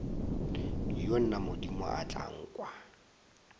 wo na modimo tla nkwa